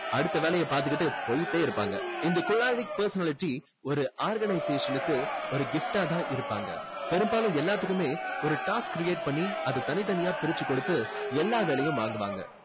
அடுத்த வேலையை பாத்துகிட்டு போயிட்டே இருப்பாங்க. இந்த choleric personality ஒரு organization க்கு ஒரு gift ஆ தான் இருப்பாங்க. பெரும்பாலும் எல்லாத்துக்குமே ஒரு task create பண்ணி அதை தனித்தனியா பிரிச்சு கொடுத்து எல்லா வேலையும் வாங்குவாங்க.